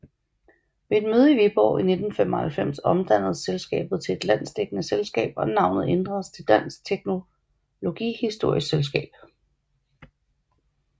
Ved et møde i Viborg i 1995 omdannedes selskabet til et landsdækkende selskab og navnet ændredes til Dansk Teknologihistorisk Selskab